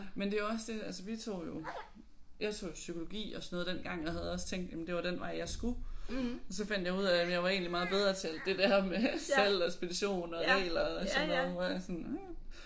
Men det er jo også det altså vi tog jo jeg tog jo psykologi og sådan noget dengang jeg havde også tænkt jamen det var den vej jeg skulle så fandt jeg ud af at jamen jeg var egentlig meget bedre til det med salg og ekspedition og regler og sådan noget hvor jeg sådan hm